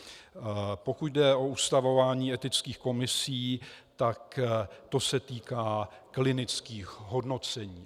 Pokud jde o ustavování etických komisí, tak se to týká klinických hodnocení.